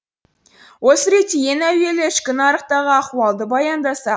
осы ретте ең әуелі ішкі нарықтағы ахуалды баяндасақ